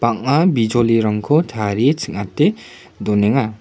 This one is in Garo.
bang·a bijolirangko tarie ching·ate donenga.